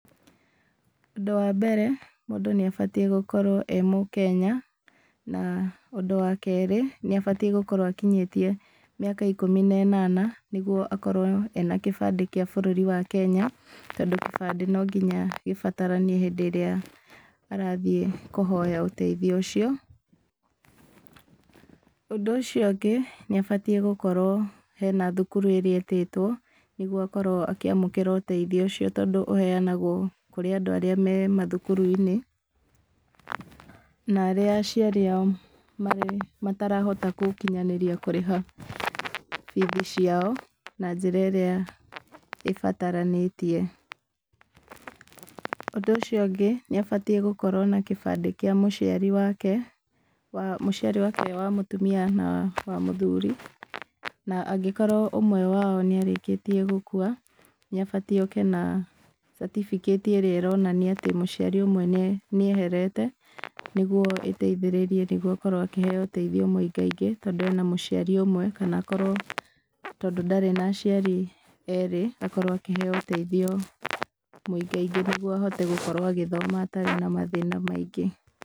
Ũndũ wa mbere, mũndũ nĩ abatiĩ gũkorwo ee Mũkenya, na ũndũ wa keerĩ, nĩ abatiíĩgũkorwo akinyĩtie mĩaka ikũmi na ĩnana, nĩguo akorwo ena kĩbandĩ kĩa bũrũri wa Kenya, tondũ kĩbandĩ no nginya gĩbataranie hĩndĩ ĩrĩa arathiĩ kũhoya ũteithio ũcio. Ũndũ ũcio ũngĩ, nĩ abatiĩ gũkorwo hena thukuru ĩrĩa etĩtwo, nĩguo akorwo akĩamũkĩra ũteithio ũcio tondũ ũheanagwo kũrĩ andũ arĩa me mathukuru-inĩ, na arĩa aciari ao marĩ matarahota gũkinyanĩria kũrĩha bithi ciao, na njĩra ĩrĩa ĩbataranĩtie. Ũndũ ũcio ũngĩ, nĩ abatiĩ gũkorwo na kĩbandĩ kĩa mũciari wake, wa mũciari wake wa mũtumia na wa mũthuri. Na angĩkorwo ũmwe wao nĩ arĩkĩtie gũkua, nĩ abatiĩ oke na certificate cs] ĩrĩa ĩronania atĩ mũciari ũmwe nĩ nĩ eherete, nĩguo ĩteithĩrĩrie nĩguo akorwo akĩheeo ũteithio mũingaingĩ tondũ ena mũciari ũmwe, kana akorwo tondũ ndarĩ na aciari eerĩ, akorwo akĩheeo ũteithio mũingaingĩ nĩguo ahote gũkorwo agĩthoma atarĩ na mathĩna maingĩ.